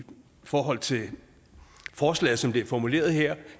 forhold til forslaget som det er formuleret her